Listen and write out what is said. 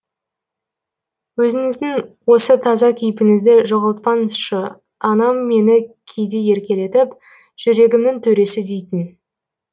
өзіңіздің осы таза кейпіңізді жоғалтпаңызшы анам мені кейде еркелетіп жүрегімнің төресі дейтін